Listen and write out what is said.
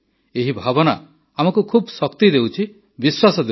ଏହି ଭାବନା ଆମକୁ ଖୁବ୍ ଶକ୍ତି ଦେଉଛି ବିଶ୍ୱାସ ଦେଉଛି